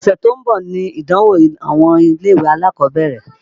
Ọ̀sẹ̀ tó ń bọ̀ nìdánwó àwọn ilé-ìwé alákọ̀ọ́bẹ̀rẹ̀.